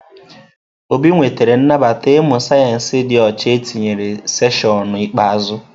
Obi nwetara nnabata ịmụ sayensị dị ọcha etinyere seshịonụ ikpeazụ.